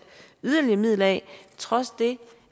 yderligere midler af trods det